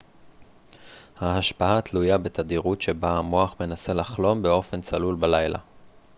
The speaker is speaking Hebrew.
ההשפעה תלויה בתדירות שבה המוח מנסה לחלום באופן צלול בלילה